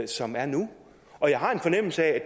som er nu og jeg har en fornemmelse af